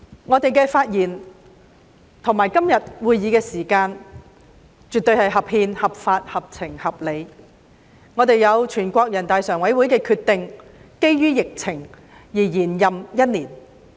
我們的發言和今天這個會議絕對是合憲、合法、合情、合理的，我們得到全國人民代表大會常務委員會因應疫情而作出的決定，獲延任一年。